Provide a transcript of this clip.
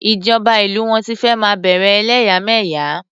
Ìjọba ìlú wọn ti fẹ́ máa bẹ̀rè ẹlẹ́yàmẹ̀yà.